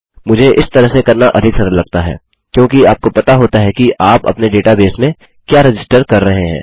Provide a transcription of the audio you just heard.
मुझे इस तरह से करना अधिक सरल लगता है क्योंकि आपको पता होता है कि आप अपने डेटाबेस में क्या रजिस्टर कर रहे हैं